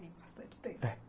Tem bastante tempo. eh.